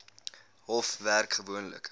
hof werk gewoonlik